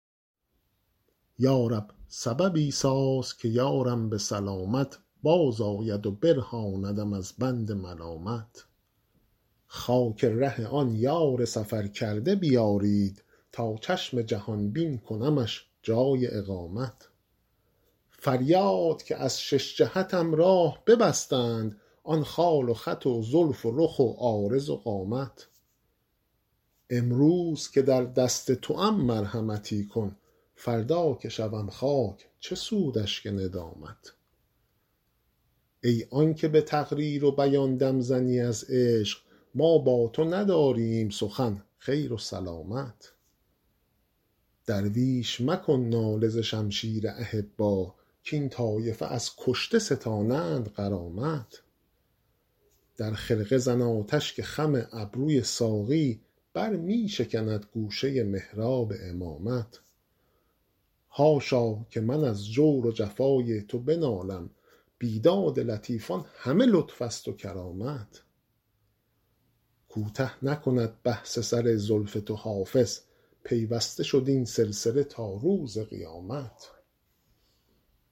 یا رب سببی ساز که یارم به سلامت بازآید و برهاندم از بند ملامت خاک ره آن یار سفرکرده بیارید تا چشم جهان بین کنمش جای اقامت فریاد که از شش جهتم راه ببستند آن خال و خط و زلف و رخ و عارض و قامت امروز که در دست توام مرحمتی کن فردا که شوم خاک چه سود اشک ندامت ای آن که به تقریر و بیان دم زنی از عشق ما با تو نداریم سخن خیر و سلامت درویش مکن ناله ز شمشیر احبا کاین طایفه از کشته ستانند غرامت در خرقه زن آتش که خم ابروی ساقی بر می شکند گوشه محراب امامت حاشا که من از جور و جفای تو بنالم بیداد لطیفان همه لطف است و کرامت کوته نکند بحث سر زلف تو حافظ پیوسته شد این سلسله تا روز قیامت